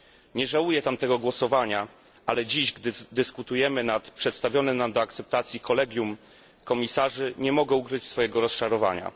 Nie żałuję tamtego głosowania, ale dziś, kiedy dyskutujemy nad przedstawionym nam do akceptacji kolegium komisarzy, nie mogę ukryć swojego rozczarowania.